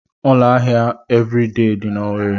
Ụlọ ahịa Eviridee dị n'Owerre.